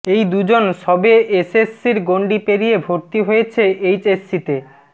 এই দুজন সবে এসএসসির গণ্ডি পেরিয়ে ভর্তি হয়েছে এইচএসসিতে